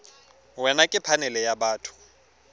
wena ke phanele ya batho